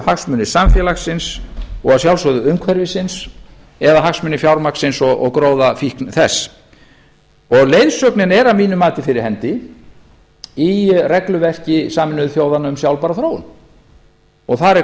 hagsmunir samfélagsins og að sjálfsögðu umhverfisins eða hagsmunir fjármagnsins og gróðafíkn þess og leiðsögnin er að mínu mati fyrir hendi í regluverki sameinuðu þjóðanna um sjálfbæra þróun þar er